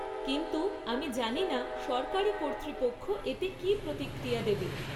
কিন্তু, আমি জানি না সরকারী কর্তৃপক্ষ এতে কী প্রতিক্রিয়া দেবে।